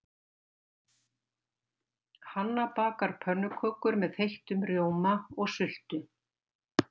Hanna bakar pönnukökur með þeyttum rjóma og sultu.